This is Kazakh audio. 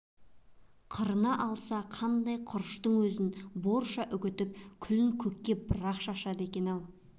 қырына алса қандай құрыштың өзін борша үгітіп күлін көкке бір-ақ шашады екен-ау